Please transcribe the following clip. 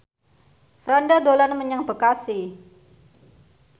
Franda dolan menyang Bekasi